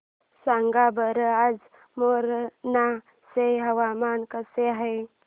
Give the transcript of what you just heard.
सांगा बरं आज मोरेना चे हवामान कसे आहे